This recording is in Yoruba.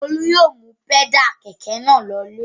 Olú yóò mú pẹ́dà kẹ̀kẹ́ náà lọlé.